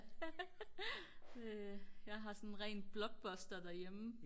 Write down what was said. jeg har sådan en ren blockbuster derhjemme